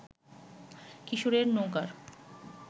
কিশোরের নৌকার